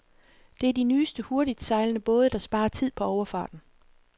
Det er de nye hurtigtsejlende både, der sparer tid på overfarten.